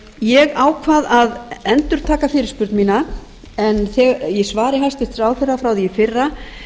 ég ákvað að endurtaka fyrirspurn mína en í svari hæstvirts ráðherra frá því í fyrra